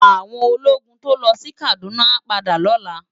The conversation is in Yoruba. Áwòn ólógùn tó lò si Kaduna á pádà lòlá